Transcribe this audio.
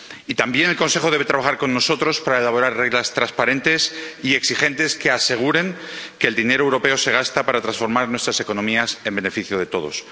Y también el Consejo debe trabajar con nosotros para elaborar reglas transparentes y exigentes, que aseguren que el dinero europeo se gasta para transformar nuestras economías, en beneficio de todos.